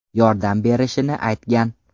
yordam berishini aytgan.